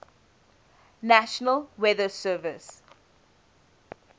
national weather service